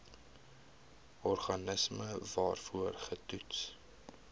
organisme waarvoor getoets